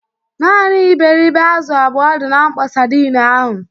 Naanị iberịbe azụ abụọ dị na mkpọ sadin ahụ.